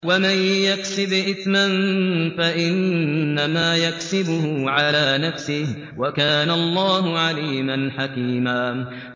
وَمَن يَكْسِبْ إِثْمًا فَإِنَّمَا يَكْسِبُهُ عَلَىٰ نَفْسِهِ ۚ وَكَانَ اللَّهُ عَلِيمًا حَكِيمًا